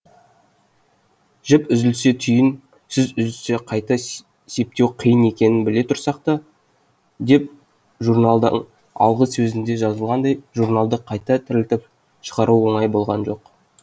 жіп үзілсе түйін сөз үзілсе қайта септеу қиын екенін біле тұрсақ та деп журналдың алғы сөзінде жазылғандай журналды қайта тірілтіп шығару оңай болған жоқ